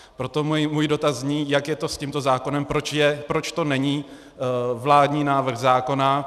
Proto můj dotaz zní: Jak je to s tímto zákonem, proč to není vládní návrh zákona?